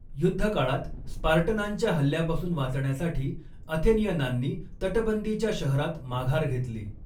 युद्धकाळात स्पार्टनांच्या हल्ल्यापासून वाचण्यासाठी अथेनियनांनी तटबंदीच्या शहरात माघार घेतली.